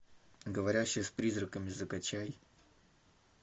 говорящая с призраками закачай